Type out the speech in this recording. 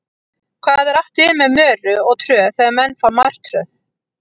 Hvað er átt við með möru og tröð þegar menn fá martröð?